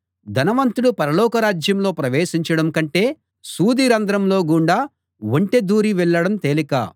ధనవంతుడు పరలోక రాజ్యంలో ప్రవేశించడం కంటే సూదిరంధ్రంలో గుండా ఒంటె దూరి వెళ్ళడం తేలిక